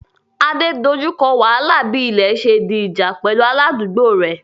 Ade dojú kọ wàhálà bí ilẹ̀ ṣe di ìjà pẹ̀lú aládùúgbò rẹ̀